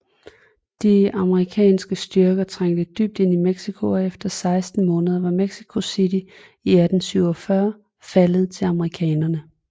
De amerikanske styrker trængte dybt ind i Mexico og efter 16 måneder var Mexico City i 1847 faldet til amerikanerne